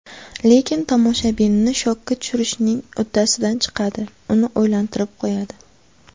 Lekin tomoshabinni shokka tushirishning uddasidan chiqadi, uni o‘ylantirib qo‘yadi.